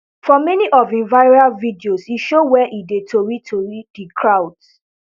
for many of im viral videos e show wia e dey totori di crowds